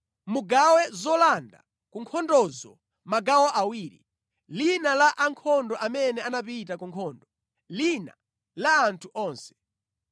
Mugawe zolanda ku nkhondozo magawo awiri, lina la ankhondo amene anapita ku nkhondo, lina la anthu onse.